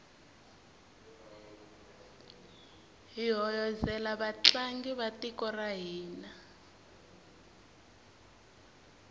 hi hoyozela vatlangi va tiko ra hina